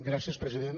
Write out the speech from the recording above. gràcies president